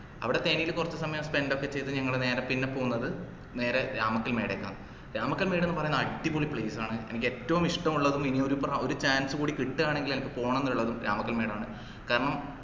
അവിടെ തേനില് കൊർച് സമയം spend ഒക്കെ ചെയ്ത് ഞങ്ങള് നേരെ പിന്നെ പോകുന്നത് നേരെ രാമക്കൽമേട്ക്കാണ് രാമക്കൽമേട് ന്ന് പറയുന്നത് അടിപൊളി place ആണ് എനിക്ക് ഏറ്റവും ഇഷ്ടമുള്ളതും ഇനി ഒരു പ്ര chance കൂടി കിട്ടുവാനെന്നുണ്ടെങ്കിൽ എനക്ക് പോണം ന്ന്ള്ളതും രാമക്കൽമേട്ക്കാണ് കാരണം